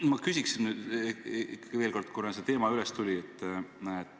Ma küsin ikkagi veel kord, kuna see teema üles tuli.